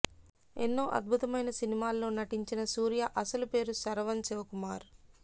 ఎన్నో అద్భుతమైన సినిమాల్లో నటించిన సూర్య అసలు పేరు శరవనన్ శివ కుమార్